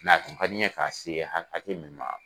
tun ka di n ye k'a se ha hakɛ min